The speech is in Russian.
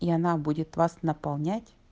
и она будет вас наполнять